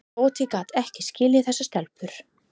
Tóti gat ekki skilið þessar stelpur.